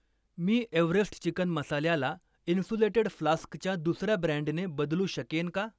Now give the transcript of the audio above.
मी Everest chicken मसाल्याला insulated फ्लास्कच्या दुसर्या ब्रँडने बदलू शकेन का?